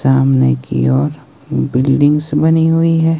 सामने की ओर बिल्डिंग्स बनी हुई है।